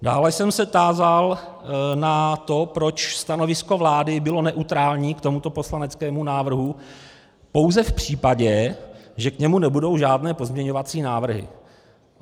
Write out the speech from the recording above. Dále jsem se tázal na to, proč stanovisko vlády bylo neutrální k tomuto poslaneckému návrhu pouze v případě, že k němu nebudou žádné pozměňovací návrhy.